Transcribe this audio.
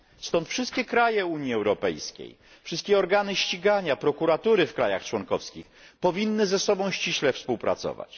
Stąd wszystkie kraje Unii Europejskiej, wszystkie organy ścigania, prokuratury w krajach członkowskich powinny ze sobą ściśle współpracować.